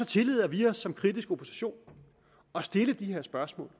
tillader vi os som kritisk opposition at stille de her spørgsmål